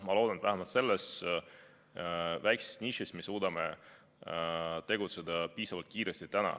Ma loodan, et vähemalt selles väikeses nišis me suudame tegutseda piisavalt kiiresti.